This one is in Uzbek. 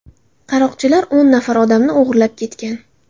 Qaroqchilar o‘n nafar odamni o‘g‘irlan ketgan.